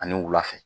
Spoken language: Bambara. Ani wula fɛ